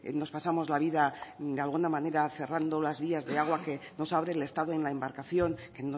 nos pasamos la vida de alguna manera cerrando las vías de agua que nos abre el estado en la embarcación que